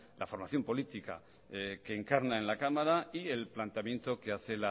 la formación política que encarna en la cámara y el planteamiento que hace